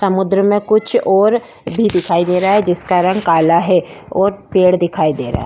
समुद्र में कुछ और भी दिखाई दे रहा है जिसका रंग काला है और पेड़ दिखाई दे रहा --